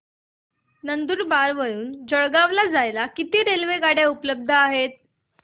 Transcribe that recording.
नंदुरबार वरून जळगाव ला जायला किती रेलेवगाडया उपलब्ध आहेत